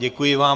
Děkuji vám.